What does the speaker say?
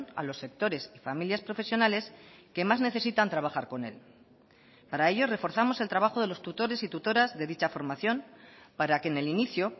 a los sectores y familias profesionales que más necesitan trabajar con él para ello reforzamos el trabajo de los tutores y tutoras de dicha formación para que en el inicio